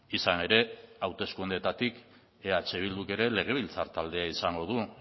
izan ere hauteskundeetatik eh bilduk ere legebiltzar taldea izango du